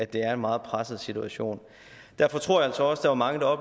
det er en meget presset situation derfor tror jeg altså også der var mange der